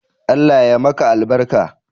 Allah ya ma albarka